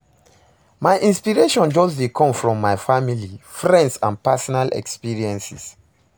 my inspiration just dey come from my family, friends and personal experiences.